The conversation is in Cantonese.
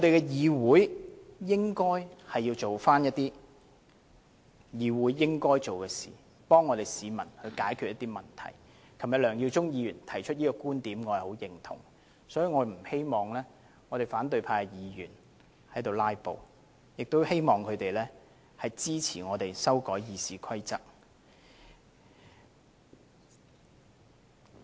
議會應該做該做的事，替市民解決問題，梁耀忠議員昨天提出這個觀點，我十分認同，所以我不希望反對派議員"拉布"，希望他們支持我們修改《議事規則》。